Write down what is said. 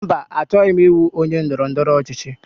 Mba, achọghị m ịbụ onye ndọrọndọrọ ọchịchị.